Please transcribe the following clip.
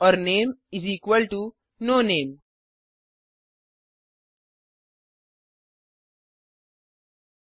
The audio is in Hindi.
और name is equal to no name